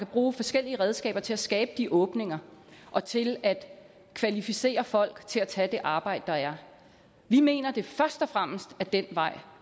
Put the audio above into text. bruge forskellige redskaber til at skabe de åbninger og til at kvalificere folk til at tage det arbejde der er vi mener at det først og fremmest er den vej